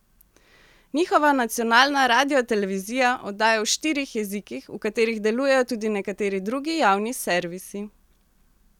Njihova nacionalna radiotelevizija oddaja v štirih jezikih, v katerih delujejo tudi nekateri drugi javni servisi.